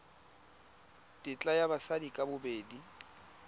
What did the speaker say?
tetla ya batsadi ka bobedi